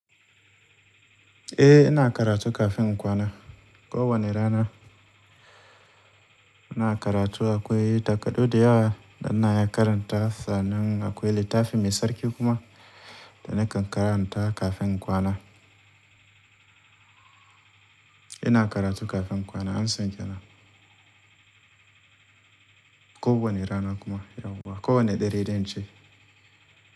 Eh ina karatu kafin kwana. Ko wane rana ina karatu akwai takardu da yawa da na yi karanta, sannan akwai littafi mai tsarki kuma da nakan karanta kafin kwana. Ina karatu kafin kwana an san tana. Ko wane rana kuma yauwa, ko wane dare dan ce.